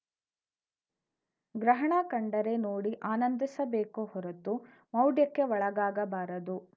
ಗ್ರಹಣ ಕಂಡರೆ ನೋಡಿ ಆನಂದಿಸಬೇಕು ಹೊರತು ಮೌಢ್ಯಕ್ಕೆ ಒಳಗಾಗಬಾರದು